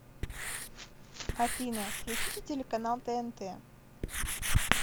афина включите телеканал тнт